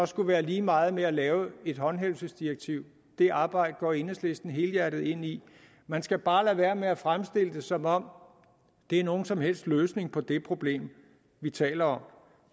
skulle være lige meget at lave et håndhævelsesdirektiv det arbejde går enhedslisten helhjertet ind i man skal bare lade være med at fremstille det som om det er nogen som helst løsning på det problem vi taler om